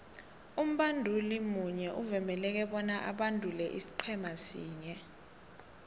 umbanduli munye uvumeleke bona abandule isiqhema sinye